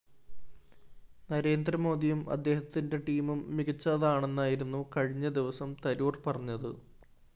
നരേന്ദ്രമോദിയും അദ്ദേഹത്തിന്റെ ടീമും മികച്ചതാണെന്നായിരുന്നു കഴിഞ്ഞ ദിവസം തരൂര്‍ പറഞ്ഞത്